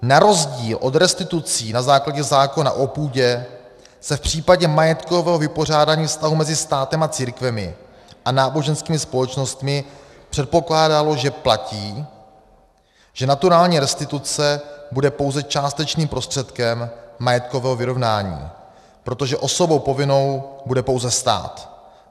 Na rozdíl od restitucí na základě zákona o půdě se v případě majetkového vypořádání vztahů mezi státem a církvemi a náboženskými společnostmi předpokládalo, že platí, že naturální restituce bude pouze částečným prostředkem majetkového vyrovnání, protože osobou povinnou bude pouze stát.